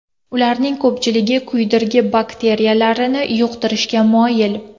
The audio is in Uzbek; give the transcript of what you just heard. Ularning ko‘pchiligi kuydirgi bakteriyalarini yuqtirishga moyil.